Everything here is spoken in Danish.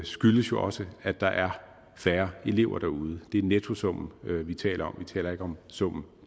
skyldes jo også at der er færre elever derude det er nettosummen vi taler om vi taler ikke om summen